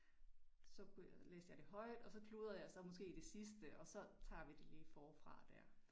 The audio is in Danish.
Så kunne jeg læste jeg det højt og så kludrede jeg så måske i det sidste og så tager vi det lige forfra der